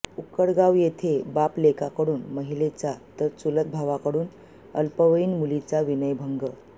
उक्कडगाव येथे बापलेकाकडून महिलेचा तर चुलत भावाकडून अल्पवयीन मुलीचा विनयभंग